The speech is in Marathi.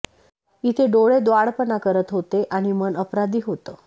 इथे डोळे द्वाडपणा करत होते आणि मन अपराधी होतं